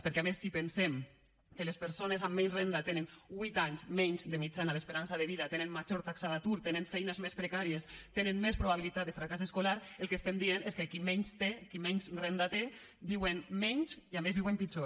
perquè a més si pensem que les persones amb menys renda tenen huit anys menys de mitjana d’esperança de vida tenen major taxa d’atur tenen feines més precàries tenen més probabilitat de fracàs escolar el que diem és que qui menys té qui menys renda té viu menys i a més viu pitjor